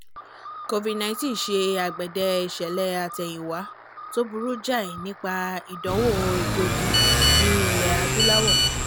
covid-19 ṣe àgbèdè ìṣẹ̀lẹ̀-àtẹ̀yìnwá tó burú jáì nípa ìdánwò ẹgbógi ní ilẹ̀-adúláwọ̀